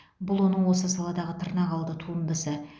бұл оның осы саладағы тырнақалды туындысы